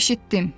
Eşitdim.